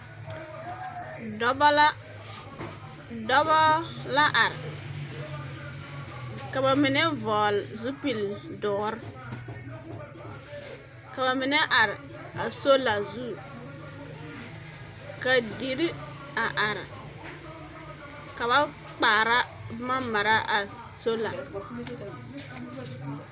Dɔba la dɔba la are ka ba mine vɔgele zupili doɔre ka ba mine are a soola su ka dire a are ka ba kaara boma mare a soola